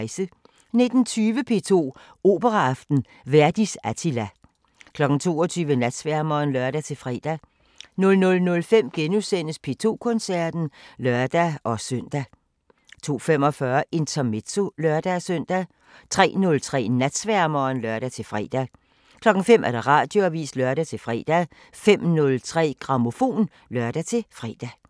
19:20: P2 Operaaften: Verdis Attilla 22:00: Natsværmeren (lør-fre) 00:05: P2 Koncerten *(lør-søn) 02:45: Intermezzo (lør-søn) 03:03: Natsværmeren (lør-fre) 05:00: Radioavisen (lør-fre) 05:03: Grammofon (lør-fre)